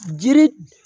Jiri